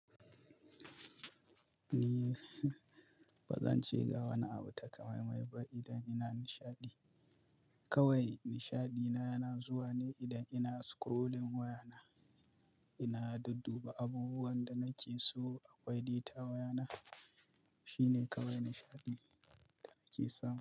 Ni ba zan ce ga wani abu takamaimai ba idan ina nishaɗi. Kawai nishaɗina yana zuwa ne idan ina scrolling wayana, ina dudduba abubuwan da nake so akwai data a wayana. Shi ne kawai nishaɗi da nake samu.